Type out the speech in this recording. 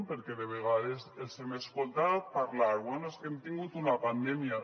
perquè de vegades els hem escoltat parlar bé és que hem tingut una pandèmia